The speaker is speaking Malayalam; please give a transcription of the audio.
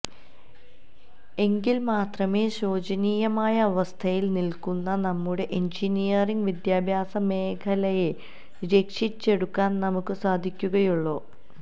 എങ്കില് മാത്രമേ ശോചനീയമായ അവസ്ഥയില് നില്ക്കുന്ന നമ്മുടെ എഞ്ചിനീയറിംഗ് വിദ്യാഭ്യാസ മേഖലയെ രക്ഷിച്ചെടുക്കാന് നമുക്ക് സാധിക്കുകയുള്ളൂ